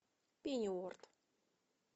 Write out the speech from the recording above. пенниуорт